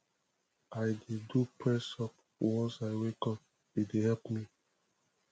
i dey do pressup once i wake up e dey help me